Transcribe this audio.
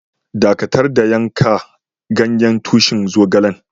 Dakatar da yanka ganyen tushin zogalen!